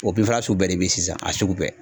fura sugu bɛɛ de bɛ sisan a sugu bɛɛ.